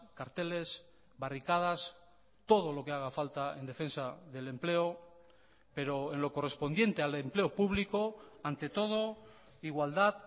carteles barricadas todo lo que haga falta en defensa del empleo pero en lo correspondiente al empleo público ante todo igualdad